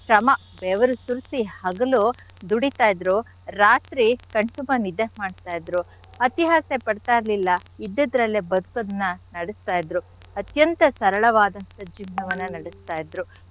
ಶ್ರಮ ಬೆವ್ರ್ ಸುರ್ಸಿ ಹಗಲು ದುಡಿತಾ ಇದ್ರು ರಾತ್ರಿ ಕಣ್ ತುಂಬಾ ನಿದ್ದೆ ಮಾಡ್ತಾ ಇದ್ರು. ಅತಿ ಆಸೆ ಪಡ್ತಾ ಇರ್ಲಿಲ್ಲ ಇದ್ದದ್ರಲ್ಲೆ ಬದುಕೋದ್ನ ನಡ್ಸ್ತಾ ಇದ್ರು ಅತ್ಯಂತ ಸರಳವಾದಂಥ ಜೀವನವನ್ನ ನಡೆಸ್ತಾ ಇದ್ರು.